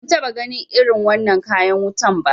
Ban taɓa ganin irin wannan kayan wutan ba